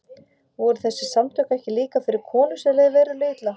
Voru þessi samtök ekki líka fyrir konur sem leið verulega illa?